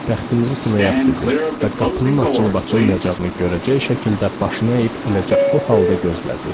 Bəxtimizi sınayaq dedi və qapının açılıb-açılmayacağını görəcək şəkildə başını əyib eləcə o halda gözlədi.